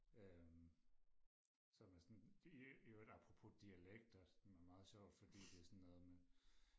øhm som er sådan det i øvrigt apropos dialekter som er meget sjovt fordi det er sådan noget med